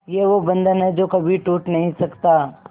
ये वो बंधन है जो कभी टूट नही सकता